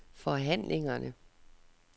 forhandlingerne